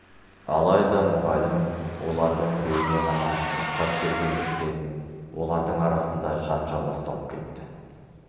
алайда мұғалім олардың біреуіне ғана рұқсат бергендіктен олардың арасында жанжал басталып кетті